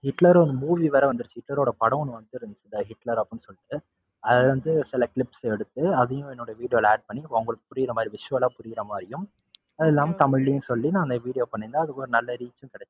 ஹிட்லர்னு ஒரு movie வேற வந்துருச்சு ஹிட்லரோட படம் ஒண்ணு வந்துருக்கு ஹிட்லர் அப்படின்னு சொல்லிட்டு. அதுல இருந்து சில clips எடுத்து அதையும் video ல add பண்ணி அவங்களுக்கு புரியுற மாதிரி visual ஆ புரியுற மாதிரியும் அது இல்லாம தமிழ்லையும் சொல்லி நான் அந்த video பண்ணருந்தேன் அதுக்கு ஒரு நல்ல reach உம் கிடைச்சுது.